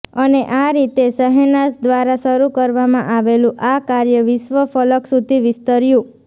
અને આ રીતે શહેનાઝ દ્વારા શરૂ કરવામાં આવેલું આ કાર્ય વિશ્વફલક સુધી વિસ્તર્યું